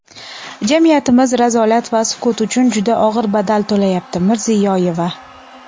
Jamiyatimiz razolat va sukut uchun juda og‘ir badal to‘layapti – Mirziyoyeva.